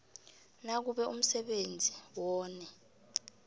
nakube umsebenzi wone